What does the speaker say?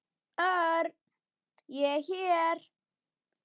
Örn, ég er hér